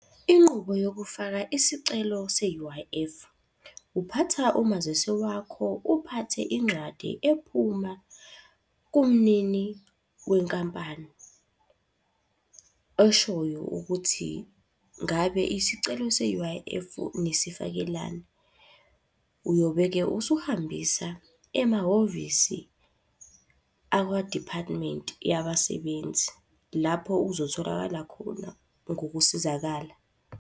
Inqubo yokufaka isicelo se-U_I_F. Uphatha umazisi wakho, uphathe incwadi ephuma kumnini wenkampani eshoyo ukuthi, ngabe isicelo se-U_I_F nisifakelani? Uyobe-ke usuhambisa emahhovisi akwa-department yabasebenzi. Lapho uzotholakala khona ngokusizakala.